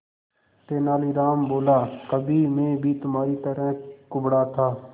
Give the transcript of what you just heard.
तेनालीराम बोला कभी मैं भी तुम्हारी तरह कुबड़ा था